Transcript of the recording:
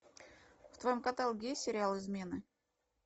в твоем каталоге есть сериал измены